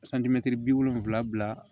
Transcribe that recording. bi wolonwula bila